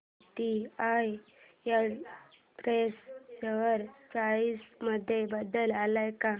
TCI express share price मध्ये बदल आलाय का